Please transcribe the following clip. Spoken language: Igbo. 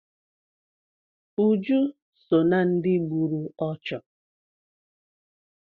Uju so ná ndị gburu ọchụ.